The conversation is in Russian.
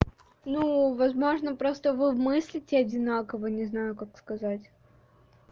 ну возможно просто вы мыслите одинаково не знаю как сказать